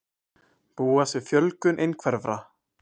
Búast við fjölgun einhverfra